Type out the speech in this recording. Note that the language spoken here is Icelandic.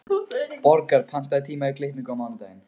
Borgar, pantaðu tíma í klippingu á mánudaginn.